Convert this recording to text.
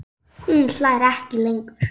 Hún hlær ekki lengur.